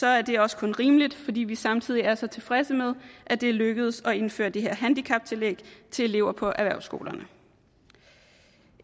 er det også kun rimeligt fordi vi samtidig er så tilfredse med at det er lykkedes at indføre det her handicaptillæg til elever på erhvervsskolerne